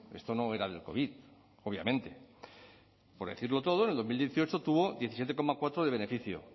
esto no era del covid obviamente por decirlo todo en el dos mil dieciocho tuvo diecisiete coma cuatro de beneficio